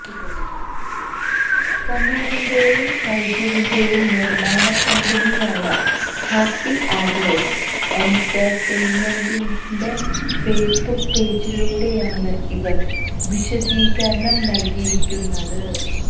സമീർറിന്റേയും ഷൈജുവിന്റേയും നിർമ്മാണ കമ്പനിയായ ഹാപ്പി അവേഴ്സ് എന്റർടൈമെന്റസിന്റെ ഫേസ്ബുക്ക് പോജിലൂടെയാണ് ഇവർ വിശദീകരണം നൽകിയിരിക്കുന്നത്